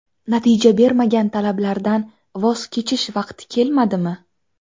Natija bermagan talablardan voz kechish vaqti kelmadimi?